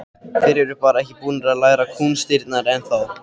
Þeir eru bara ekki búnir að læra kúnstirnar ennþá.